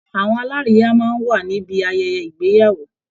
Àwọn alárìíyá máa ń wà níbi ayẹyẹ ìgbeyàwó